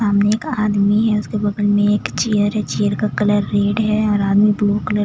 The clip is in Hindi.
सामने एक आदमी है उसके बगल में एक चेयर है चेयर का कलर रेड है और आदमी ब्लू कलर --